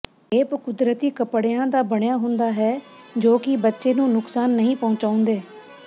cape ਕੁਦਰਤੀ ਕੱਪੜਿਆਂ ਦਾ ਬਣਿਆ ਹੁੰਦਾ ਹੈ ਜੋ ਕਿ ਬੱਚੇ ਨੂੰ ਨੁਕਸਾਨ ਨਹੀਂ ਪਹੁੰਚਾਉਂਦੇ